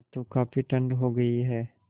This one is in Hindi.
अब तो काफ़ी ठण्ड हो गयी है